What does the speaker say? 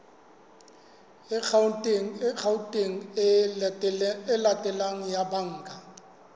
akhaonteng e latelang ya banka